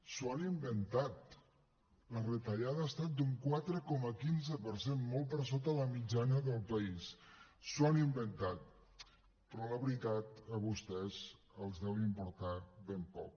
s’ho han inventat la retallada ha estat d’un quatre coma quinze per cent molt per sota de la mitjana del país s’ho han inventat però la veritat a vostès els deu importar ben poc